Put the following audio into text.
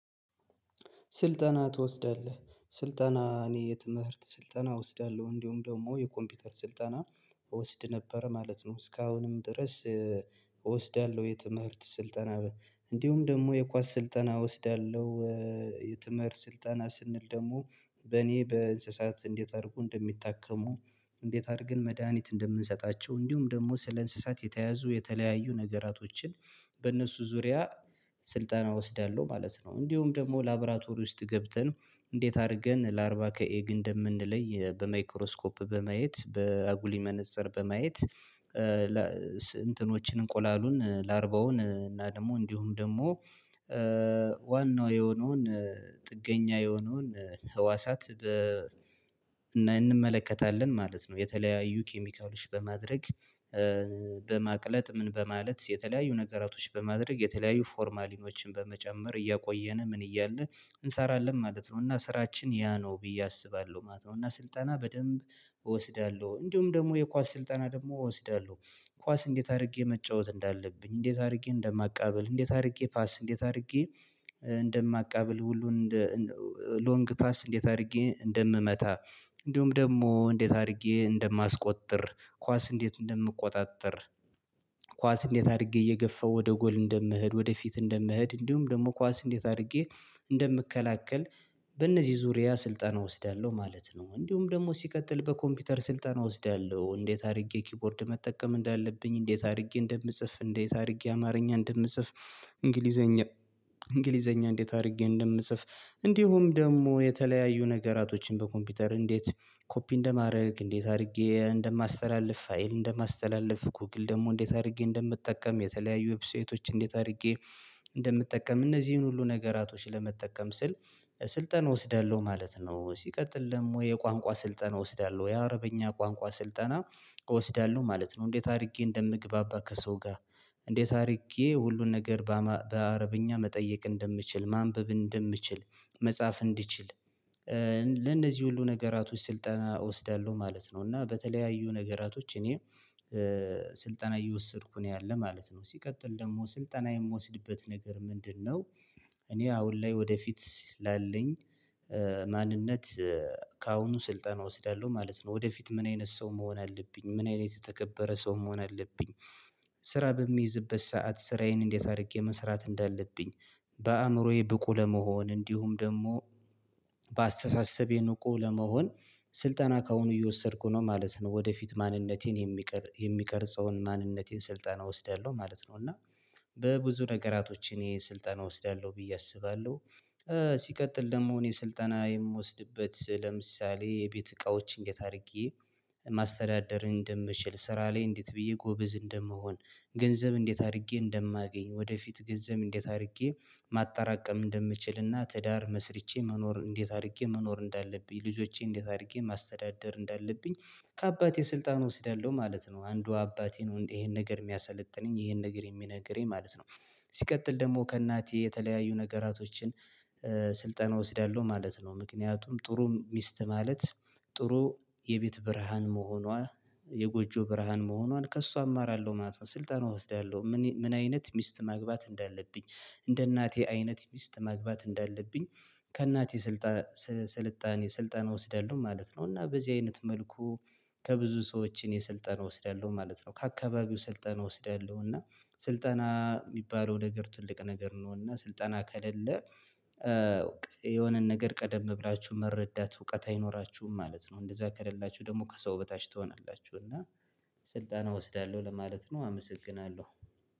ስልጠና ትወስዳለህ ስልጠና እኔ የትምህርት ስልጠና እወስዳለሁ እንዲሁም ደግሞ የኮምፒውተር ስልጠና እወስድ ነበር ማለት ነው እስካሁንም ድረስ እወስዳለሁ የትምህርት ስልጠና እንዲሁም ደግሞ የኳስ ስልጠና እወስዳለሁ። የትምህርት ስልጠና ስንል ደግሞ በኔ በእንስሳት እንዴት አድርጉ እንደሚታከሙ እንዴት አድርገን መድሃኒት እንደምንሰጣቸው እንዲሁም ደግሞ ስለ እንስሳት የተያዙ የተለያዩ ነገራቶችን በእነሱ ዙሪያ ስልጠና እወስዳለሁ ማለት ነው። እንዲሁም ደግሞ ላብራቶሪ ውስጥ ገብተን እንዴት አድርገን ለአርባ ከኤግ እንደምንለይ በማይክሮስኮፕ በማየት በአጉሊ መነፀር በማየት እንትኖችን እንቆላሉን ላርባውን እና ደግሞ እንዲሁም ደግሞ ዋናው የሆነውን ጥገኛ የሆነውን ህዋሳት እንመለከታለን ማለት ነው። የተለያዩ ኬሚካሎች በማድረግ በማቅለጥ ምን በማለት የተለያዩ ነገራቶች በማድረግ የተለያዩ ፎርማሊኖችን በመጨመር እያቆየን ምን እያለ እንሰራለን ማለት ነው። እና ስራችን ያ ነው ብዬ አስባለሁ ማለት ነው። እና ስልጠና በደንብ እወስዳለሁ እንዲሁም ደግሞ የኳስ ስልጠና ደግሞ እወስዳለሁ። ኳስ እንዴት አድርጌ መጫወት እንዳለብኝ እንዴት አድርጌ እንደማቃብል እንዴት አድርጌ ፓስ እንዴት አድርጌ እንደማቃብል ሁሉን እንደ ሎንግ ፓስ እንዴት አድርጌ እንደምመታ እንዲሁም ደግሞ እንዴት አድርጌ እንደማስቆጥር ኳስ እንዴት እንደምቆጣጥር ኳስ እንዴት አድርጌ እየገፋው ወደ ጎል እንደምህድ ወደፊት እንደምህድ እንዲሁም ደግሞ ኳስ እንዴት አድርጌ እንደምከላከል። በእነዚህ ዙሪያ ስልጣን እወስዳለሁ ማለት ነው። እንዲሁም ደግሞ ሲቀጥል በኮምፒውተር ስልጠና እወስዳለሁ እንዴት አድርጌ ኪፖርድ መጠቀም እንዳለብኝ እንዴት አድርጌ እንደምጽፍ እንዴት አድርጌ አማርኛ እንደምጽፍ እንግሊዘኛ እንግሊዘኛ እንዴት አድርጌ እንደምጽፍ እንዲሁም ደግሞ የተለያዩ ነገራቶችን በኮምፒውተር እንዴት ኮፒ እንደማረግ እንዴት አድርጌ እንደማስተላልፍ ፋይል እንደማስተላለፍ ጎግል ደግሞ እንዴት አድርጌ እንደምትጠቀም የተለያዩ ዌብሳይቶች እንዴት አድርጌ እንደምጠቀም እነዚህን ሁሉ ነገራቶችን ለመጠቀም ስል ስልጠን እወስዳለሁ ማለት ነው። ሲቀጥል ደሞ የቋንቋ ስልጠን እወስዳለሁ የአረበኛ ቋንቋ ስልጠና እወስዳለሁ ማለት ነው። እንዴት አድርጌ እንደምግባባ ከሰው ጋር እንዴት አድርጌ ሁሉን ነገር በአረብኛ መጠየቅ እንደምችል ማንበብ እንደምችል መጻፍ እንድችል ለእነዚህ ሁሉ ነገራቶች ስልጠና እወስዳለሁ ማለት ነው። እና በተለያዩ ነገራቶች እኔ ስልጠና እየወሰድኩ ነው ያለ ማለት ነው። ሲቀጥል ደግሞ ስልጠና የምወስድበት ነገር ምንድነው? እኔ አሁን ላይ ወደፊት ላለኝ ማንነት ከአሁኑ ስልጠና እወስዳለሁ ማለት ነው። ወደፊት ምን አይነት ሰው መሆን አለብኝ ምን አይነት የተከበረ ሰው መሆን አለብኝ። ስራ በምይዝበት ሰዓት ስራዬን እንዴት አድርጌ መስራት እንዳለብኝ በአእምሮዬ ብቁ ለመሆን እንዲሁም ደግሞ በአስተሳሰብ የንቁ ለመሆን ስልጠና ከአሁኑ እየወሰድኩ ነው ማለት ነው። ወደፊት ማንነቴን የሚቀር የሚቀርጸውን ማንነቴን ስልጠና እወስዳለሁ ማለት ነው። እና በብዙ ነገራቶች እኔ ስልጠና እወስዳለሁ ብዬ አስባለሁ። ሲቀጥል ደግሞ እኔ ስልጠና የምወስድበት ለምሳሌ የቤት እቃዎችን እንዴት አድርጌ ማስተዳደር እንደምችል ስራ ላይ እንዴት ብዬ ጎበዝ እንደምሆን ገንዘብ እንዴት አድርጌ እንደማገኝ ወደፊት ገንዘብ እንዴት አድርጌ ማጣራቀም እንደምችልና ትዳር መስርቼ መኖር እንዴት አድርጌ መኖር እንዳለብኝ ልጆቼ እንዴት አድርጌ ማስተዳደር እንዳለብኝ ከአባቴ ስልጣን እወስዳለሁ ማለት ነው። አንዱ አባቴ ነው ይሄን ነገር የሚያሰለጥነኝ ይሄን ነገር የሚነግረኝ ማለት ነው። ሲቀጥል ደግሞ ከእናቴ የተለያዩ ነገራቶችን ስልጠና እወስዳለሁ ማለት ነው። ምክንያቱም ጥሩም ሚስት ማለት ጥሩ የቤት ብርሃን መሆኗ የጎጆ ብርሃን መሆኗን ከእሷ አማራለሁ ማለት ነው። ስልጠናው እወስዳለሁ ምን አይነት ሚስት ማግባት እንዳለብኝ እንደ እናቴ አይነት ሚስት ማግባት እንዳለብኝ ከእናቴ ስልጣን ስልጣን የስልጣን እወስዳለሁ ማለት ነው። እና በዚህ አይነት መልኩ ከብዙ ሰዎችን እኔ ስልጠን እወስደለሁ ማለት ነው። ከአካባቢው ስልጠና እወስደለሁ እና ስልጠና የሚባለው ነገር ትልቅ ነገር ነውና ስልጠና ከለለ የሆነን ነገር ቀደም ብላችሁ መረዳት እውቀት አይኖራችሁም ማለት ነው። እንደዛ ከሌላችሁ ደግሞ ከሰው በታች ትሆናላችሁ እና ስልጣን እወስዳለሁ ለማለት ነው። አመሰግናለሁ።